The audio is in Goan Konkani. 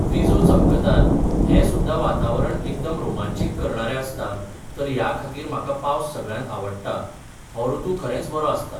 विजो चमकतात हे सुद्दां वातावरण एकदम रोमांचीक करणारें आसता तर ह्या खातीर म्हाका पावस सगळ्यांत आवडटा हो ऋतू खरेंच बरो आसता